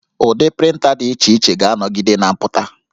Ụdị prịnta dị iche iche ga-anọgide na-apụta